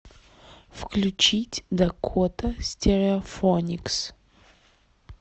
включить дакота стереофоникс